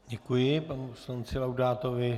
Děkuji panu poslanci Laudátovi.